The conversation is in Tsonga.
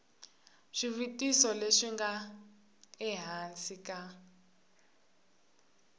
swivutiso leswi nga ehansi ka